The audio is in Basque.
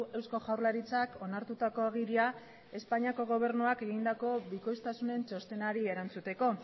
eusko jaurlaritzak onartutako agiria espainiako gobernuak egindako bikoiztasunen txostenari erantzuteko